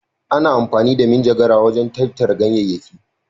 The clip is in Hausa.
Ana amfani da manjagara wajen tattara ganyayyaki.